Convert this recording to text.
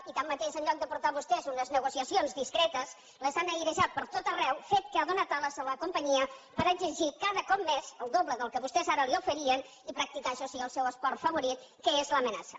i tanmateix en lloc de portar vostès unes negociacions discretes les han airejat pertot arreu fet que ha donat ales a la companyia per exigir cada cop més el doble del que vostès ara li oferien i practicar això sí el seu esport favorit que és l’amenaça